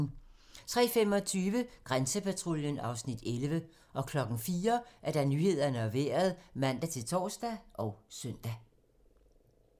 03:25: Grænsepatruljen (Afs. 11) 04:00: Nyhederne og Vejret (man-tor og søn)